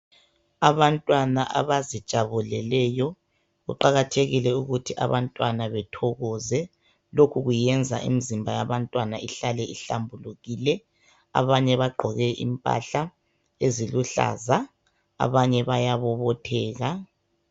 Abantwana abazijabuleleyo kuqakathekile ukuthi abantwana bethokoze lokhu kuyenza imizimba yabantwana ihlale ihlambulukile. Abanye bagqoke impahla eziluhlaza abanye bayabobotheka.